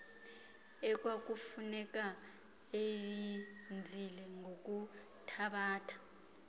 ekwakufuneka eyenzile ngokuthabatha